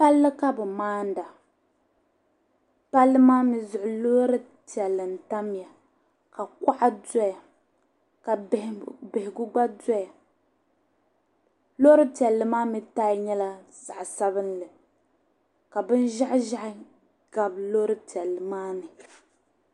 palli ka bɛ maanda palli maa mi zuɣu loori piɛlli n-tamya ka kɔŋa dɔya ka bihigu gba dɔya loori piɛlli maa mi taaya nyɛla zaɣ' sabilinli ka binʒɛhiʒɛhi gabi loori piɛlli maa ni